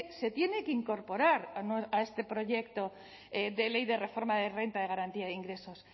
se tiene que incorporar a este proyecto de ley de reforma de renta de garantía de ingresos